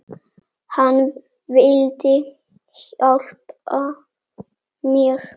Hann vildi hjálpa mér.